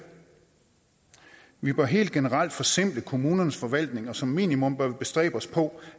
vi bør helt generelt forsimple kommunernes forvaltning og som minimum bestræbe os på